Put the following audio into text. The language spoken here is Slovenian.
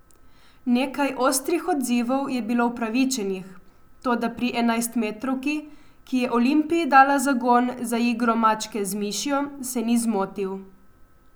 Nekaj ostrih odzivov je bilo upravičenih, toda pri enajstmetrovki, ki je Olimpiji dala zagon za igro mačke z mišjo, se ni zmotil.